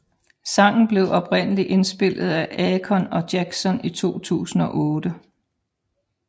Sangen blev oprindeligt indspillet af Akon og Jackson i 2008